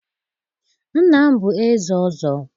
nna m bụ eze ọzọ.